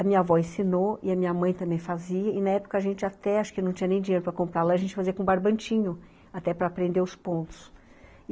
A minha avó ensinou e a minha mãe também fazia, e na época a gente até, acho que não tinha nem dinheiro para comprar lá, a gente fazia com barbantinho, até para aprender os pontos.